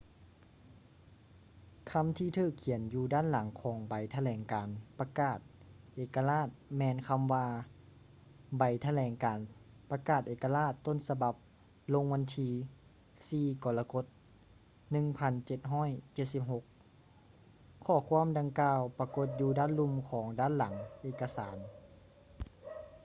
ຄຳທີ່ຖືກຂຽນຢູ່ດ້ານຫຼັງຂອງໃບຖະແຫຼງການປະກາດເອກະລາດແມ່ນຄຳວ່າ ໃບຖະແຫຼງການປະກາດເອກະລາດຕົ້ນສະບັບລົງວັນທີ 4 ກໍລະກົດ 1776 ຂໍ້ຄວາມດັ່ງກ່າວປາກົດຢູ່ດ້ານລຸ່ມຂອງດ້ານຫຼັງເອກະສານ